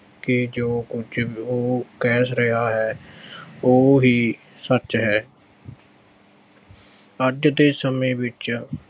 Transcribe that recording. ਕਿ ਜੋ ਕੁਝ ਉਹ ਕਹਿ ਰਿਹਾ ਹੈ ਉਹ ਹੀ ਸੱਚ ਹੈ ਅੱਜ ਦੇ ਸਮੇਂ ਵਿੱਚ